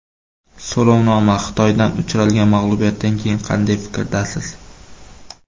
So‘rovnoma: Xitoydan uchralgan mag‘lubiyatdan keyin qanday fikrdasiz?.